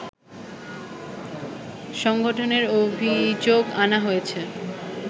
সংগঠনের অভিযোগ আনা হয়েছে